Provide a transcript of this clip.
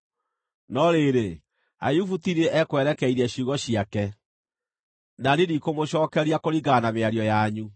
No rĩrĩ, Ayubu ti niĩ ekwerekeirie ciugo ciake, na niĩ ndikũmũcookeria kũringana na mĩario yanyu.